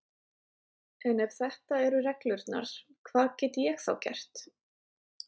En ef þetta eru reglurnar, hvað get ég þá gert?